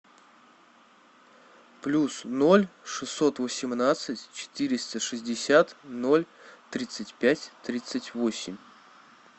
плюс ноль шестьсот восемнадцать четыреста шестьдесят ноль тридцать пять тридцать восемь